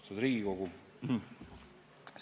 Austatud Riigikogu!